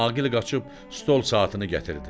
Aqil qaçıb stol saatını gətirdi.